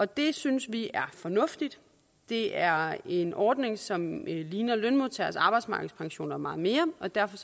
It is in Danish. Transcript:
det synes vi er fornuftigt det er en ordning som ligner lønmodtageres arbejdsmarkedspensioner meget mere og derfor